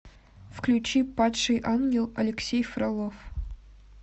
включи падший ангел алексей фролов